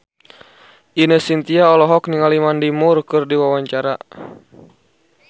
Ine Shintya olohok ningali Mandy Moore keur diwawancara